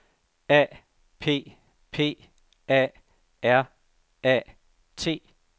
A P P A R A T